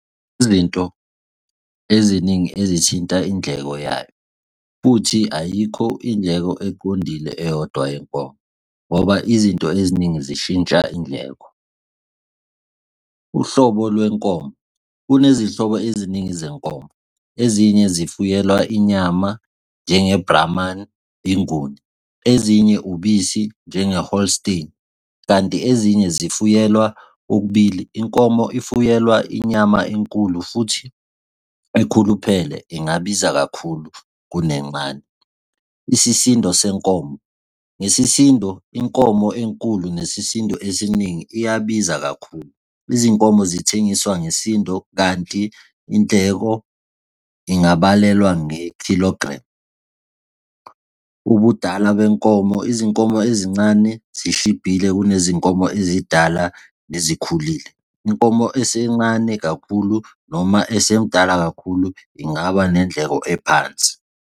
Izinto eziningi ezithinta indleko yayo. Futhi ayikho indleko eqondile eyodwa yenkomo, ngoba izinto eziningi zishintsha indleko. Uhlobo lwenkomo. Kunezinhlobo eziningi zenkomo. Ezinye zifuyelwa inyama njenge blamani, inguni, ezinye ubisi njenge holstein kanti ezinye zifuyelwa okubili. Inkomo efuyelwa inyama enkulu futhi ekhuluphele ingabiza kakhulu kuncane. Isisindo senkomo, nesisindo inkomo enkulu nesisindo esiningi iyabiza kakhulu, izinkomo zithengiswa ngesisindo kanti indleko ingabalelwa nge-kilogram ubudala benkomo. Izinkomo ezincane zishibhile kunezinkomo ezidala sezikhulile. Inkomo esencane kakhulu noma esemdala kakhulu ingaba nendleko ephansi.